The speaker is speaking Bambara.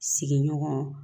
Sigiɲɔgɔn